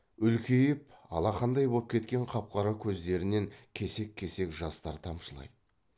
үлкейіп алақандай боп кеткен қап қара көздерінен кесек кесек жастар тамшылайды